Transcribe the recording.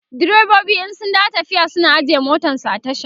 direbobi in sun dawo tafiya suna ajiye motansu a tasha